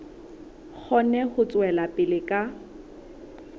kgone ho tswela pele ka